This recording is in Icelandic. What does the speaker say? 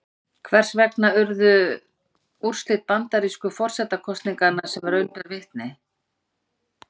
Hvers vegna urðu úrslit bandarísku forsetakosninganna sem raun ber vitni?